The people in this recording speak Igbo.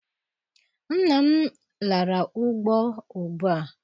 nna m lara ugbo ugbua.